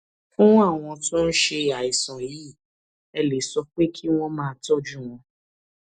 fún àwọn tó ń ṣe àìsàn yìí ẹ lè sọ pé kí wón máa tójú wọn